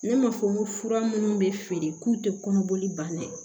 Ne m'a fɔ n ko fura minnu bɛ feere k'u tɛ kɔnɔboli ban dɛ